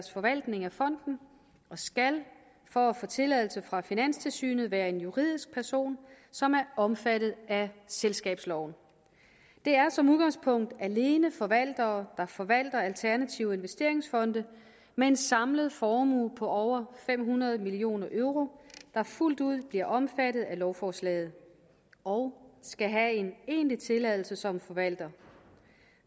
forvaltning af fonden og skal for at få tilladelse fra finanstilsynet være en juridisk person som er omfattet af selskabsloven det er som udgangspunkt alene forvaltere der forvalter alternative investeringsfonde med en samlet formue på over fem hundrede million euro der fuldt ud bliver omfattet af lovforslaget og skal have en egentlig tilladelse som forvalter